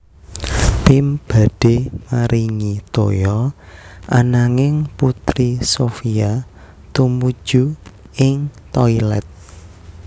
Pim badhe maringi toya ananging Putri Sophia tumuju ing toilet